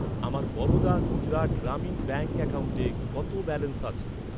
আমার বরোদা গুজরাট গ্রামীণ ব্যাঙ্ক অ্যাকাউন্টে কত ব্যালেন্স আছে?